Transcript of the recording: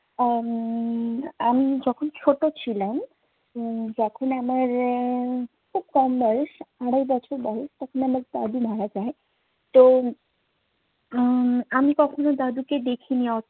আহ উম আমি যখন ছোট ছিলাম উম তখন আমার উম খুব কম বয়স, আড়াই বছর বয়স। তখন আমার দাদি মারা যায়। তো উম আমি তখনো দাদিকে দেখিনি। অ~